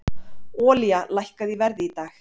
Olía lækkaði í verði í dag